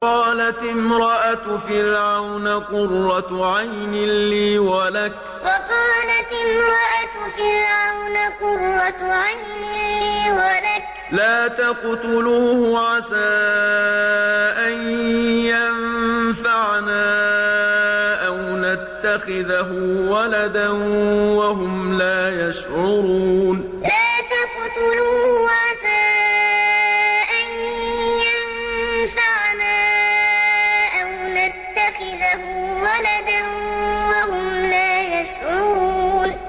وَقَالَتِ امْرَأَتُ فِرْعَوْنَ قُرَّتُ عَيْنٍ لِّي وَلَكَ ۖ لَا تَقْتُلُوهُ عَسَىٰ أَن يَنفَعَنَا أَوْ نَتَّخِذَهُ وَلَدًا وَهُمْ لَا يَشْعُرُونَ وَقَالَتِ امْرَأَتُ فِرْعَوْنَ قُرَّتُ عَيْنٍ لِّي وَلَكَ ۖ لَا تَقْتُلُوهُ عَسَىٰ أَن يَنفَعَنَا أَوْ نَتَّخِذَهُ وَلَدًا وَهُمْ لَا يَشْعُرُونَ